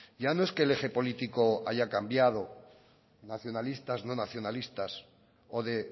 ya no es que el eje político haya cambiado nacionalistas no nacionalistas o de